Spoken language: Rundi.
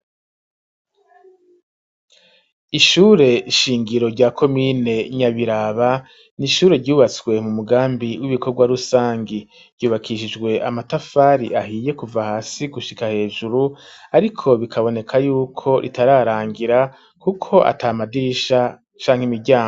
Ishure shingiro rya komine Nyabiraba n'ishure ryubatswe mu mugambi w'ibikorwa rusangi ryubakishijwe amatafari ahiye kuva hasi gushika hejuru ariko bikaboneka yuko ritararangira kuko atamadirisha shanke imiryango.